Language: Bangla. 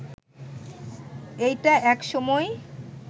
এইটা এক সময়